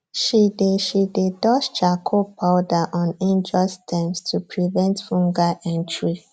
she dey she dey dust charcoal powder on injured stems to prevent fungal entry